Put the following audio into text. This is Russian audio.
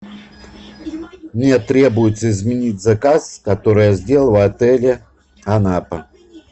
мне требуется изменить заказ который я сделал в отеле анапа